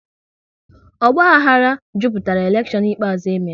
Ogbahara jupụtara elekshon ikpeazụ e mere